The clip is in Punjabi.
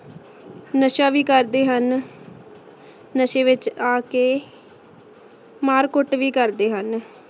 ਨਸ਼ਾ ਵੀ ਕਰਦੇ ਹਨ ਨਸ਼ੇ ਵਿਚ ਆ ਕੇ ਮਾਰ ਕੁਟ ਵੀ ਕਰਦੇ ਹਨ